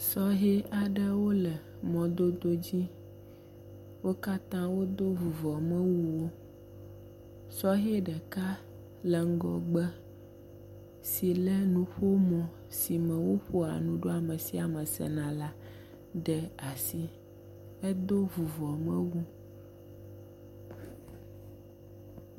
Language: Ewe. Sɔhɛ aɖewo le mɔdodo dzi. Wo katã wodo vuvɔmewuwo. Sɔhɛ ɖeka le ŋgɔgbe si le nuƒomɔ si sime woƒoa nu ɖo ame sia ame sena la ɖe asi hedo vuvɔmewu.